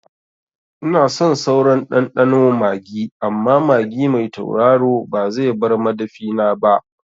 Ina son sauran ɗanɗano magi amma magi mai tauraro ba zai bar madafina ba